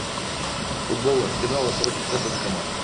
футбол арсенала против тоттенхэма